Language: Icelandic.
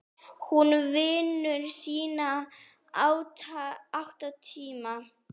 Hún vinnur sína átta tíma.